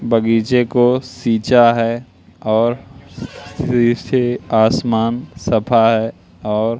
बगीचे को सीचा है और फिर से आसमान सफा है और--